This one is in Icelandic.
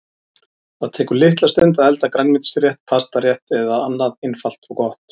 Það tekur litla stund að elda grænmetisrétt, pastarétt eða annað einfalt og gott.